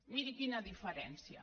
miri quina diferència